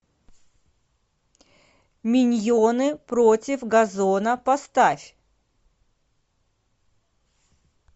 миньоны против газона поставь